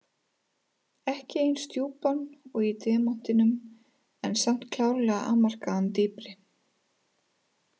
Ekki eins djúpan og í demantinum en samt klárlega afmarkaðan dýpri.